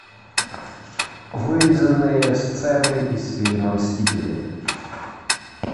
вырезанные сцены из фильма мстители